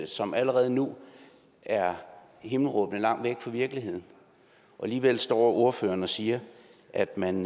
som allerede nu er himmelråbende langt væk fra virkeligheden og alligevel står ordføreren og siger at man